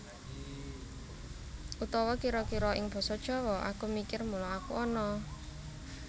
Utawa kira kira ing Basa Jawa Aku mikir mula aku ana